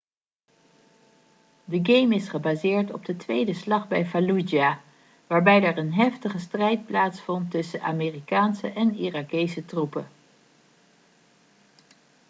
de game is gebaseerd op de tweede slag bij fallujah waarbij er een heftige strijd plaatsvond tussen amerikaanse en irakese troepen